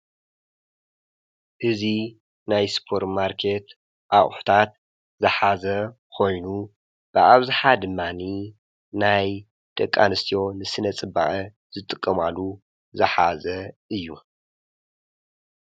እዚ ናይ ስጶር ማርከት ኣቝሕታት ዝኃዘ ኾይኑ ብኣብዝኃ ድማኒ ናይ ደቂ ኣንስትዮ ንስነ-ጽበቀ ዝጥቀማሉ ዝኃዘ እዩ።